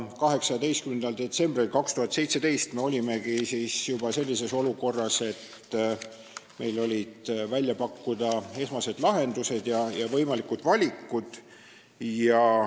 18. detsembril 2017 me olimegi juba sellises olukorras, et meil olid välja pakkuda esmased lahendused ja võimalikud valikud.